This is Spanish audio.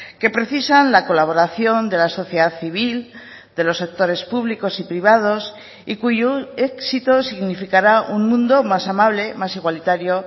que precisan la colaboración de la sociedad civil de los sectores públicos y privados y cuyo éxito significará un mundo más amable más igualitario